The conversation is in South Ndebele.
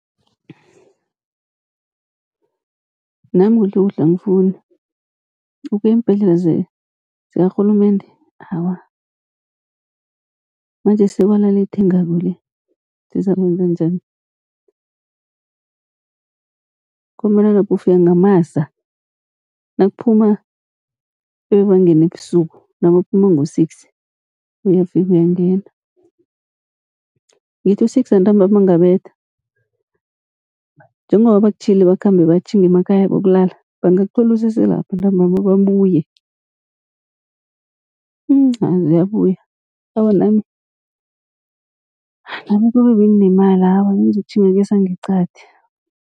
Nami kuhlekuhle angifuni ukuya eembhedlela zikarhulumende awa, manjesi sekwala le ethengako le sizakwenza njani. Ngombana lapha ufika ngamasa, nakuphuma ebebangene ebusuku nabaphuma ngo-six uyafika uyangena, ngithi u-six wantambama angabetha njengoba bakutjhiyile bakhambe batjhinge emakhaya bayokulala bangakuthola useselapho entambama babuye. Mhm ah ziyabuya awa nami, nami kube benginemali awa bengizokutjhinga kesangeqadi.